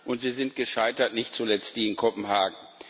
Und sie sind gescheitert nicht zuletzt die in Kopenhagen.